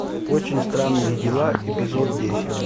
очень странные дела эпизод десять